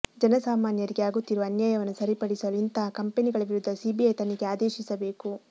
ಜನಸಾಮಾನ್ಯರಿಗೆ ಆಗುತ್ತಿರುವ ಅನ್ಯಾಯವನ್ನು ಸರಿಪಡಿಸಲು ಇಂತಹ ಕಂಪೆನಿಗಳ ವಿರುದ್ಧ ಸಿಬಿಐ ತನಿಖೆಗೆ ಆದೇಶಿಸಬೇಕು